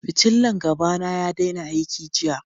Fitillan gaba na ya daina aiki jiya.